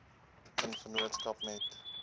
in vennootskap met